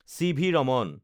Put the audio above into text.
CV. Raman